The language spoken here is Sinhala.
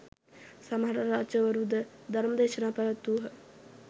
සමහර රජවරුද ධර්ම දේශනා පැවැත්වූහ.